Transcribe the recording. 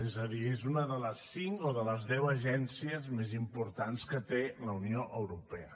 és a dir és una de les cinc o de les deu agències més importants que té la unió europea